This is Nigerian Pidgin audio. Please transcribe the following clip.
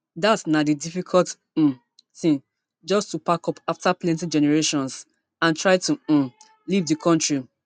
dat na di difficult um tin just to pack up after plenti generations and try to um leave di kontri